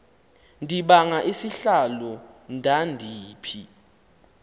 ndibanga isihlalo ndandiphi